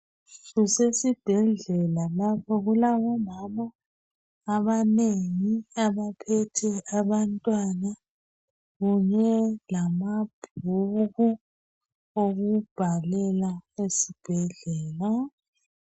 Kusesibhedlela lapho. Kulabomama abanengi abaphethe abantwana kunye lamabhuku okubhalela esibhedlela.